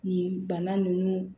Nin bana ninnu